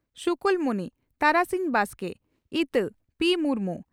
ᱥᱩᱠᱳᱞᱢᱩᱱᱤ (ᱛᱟᱨᱟᱥᱤᱧ ᱵᱟᱥᱠᱮ) ᱤᱛᱟᱹ (ᱯᱤᱹ ᱢᱩᱨᱢᱩ)